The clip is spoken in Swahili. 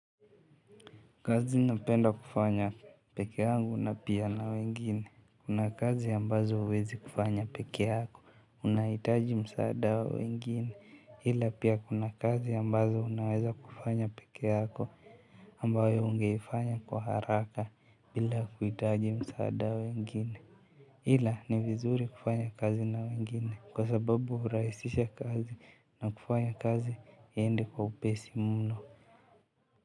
Kazi napenda kufanya peke angu na pia na wengine. Kuna kazi ambazo uwezi kufanya peke yako unahitaji msaada wa wengine ila pia kuna kazi ambazo unaweza kufanya peke yako ambayo ungeifanya kwa haraka bila kuitaji msaada wa wengine ila ni vizuri kufanya kazi na wengine kwa sababu hurahishia kazi na kufanya kazi iende kwa upesi mno.